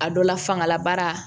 A dɔ la fangalabaara